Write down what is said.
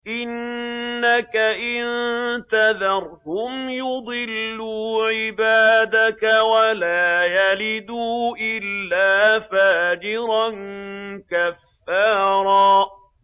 إِنَّكَ إِن تَذَرْهُمْ يُضِلُّوا عِبَادَكَ وَلَا يَلِدُوا إِلَّا فَاجِرًا كَفَّارًا